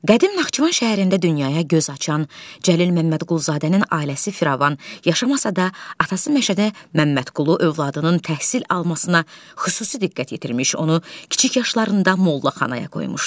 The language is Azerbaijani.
Qədim Naxçıvan şəhərində dünyaya göz açan Cəlil Məmmədquluzadənin ailəsi firavan yaşamasa da, atası Məşədi Məmmədqulu övladının təhsil almasına xüsusi diqqət yetirmiş, onu kiçik yaşlarında mollaxanaya qoymuşdu.